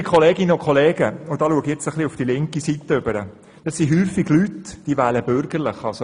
Liebe Kolleginnen und Kollegen – nun schaue ich auf die bürgerliche Seite – häufig handelt es sich um Leute, die bürgerlich wählen.